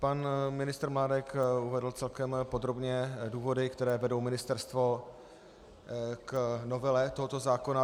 Pan ministr Mládek uvedl celkem podrobně důvody, které vedou ministerstvo k novele tohoto zákona.